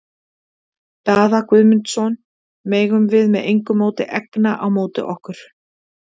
Daða Guðmundsson megum við með engu móti egna á móti okkur.